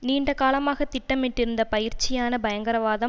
நீண்ட காலமாக திட்டமிட்டிருந்த பயிற்சியான பயங்கரவாதம்